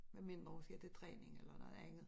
Med mindre hun skal til træning eller noget andet